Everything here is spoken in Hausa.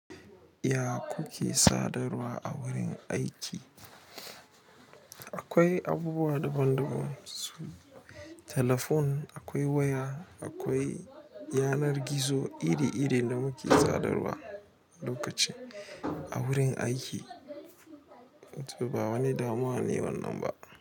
Ya kuke sadarwa a wurin aiki? Akwai abubuwa daban daban su, telefon akwai waya, akwai yanar gizo iri iri da muke sadarwa lokaci a wurin aiki. Ba wani damuwa ne wannan ba.